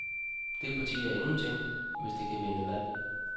Det parti er ingenting, hvis det ikke kan vinde valg.